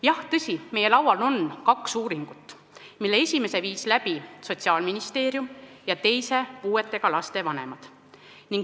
Jah, tõsi, meie laual on kaks uuringut, millest esimese tegi Sotsiaalministeerium ja teise puuetega laste vanemad.